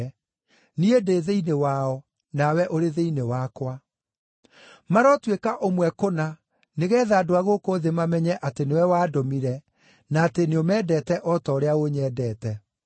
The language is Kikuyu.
niĩ ndĩ thĩinĩ wao, nawe ũrĩ thĩinĩ wakwa. Marotuĩka ũmwe kũna, nĩgeetha andũ a gũkũ thĩ mamenye atĩ nĩwe wandũmire, na atĩ nĩũmendete o ta ũrĩa ũnyendete.